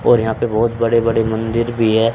और यहां पे बहोत बड़े बड़े मंदिर भी है।